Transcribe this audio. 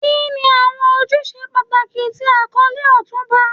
Kini awọn ojuse pataki ti akọle Otunba?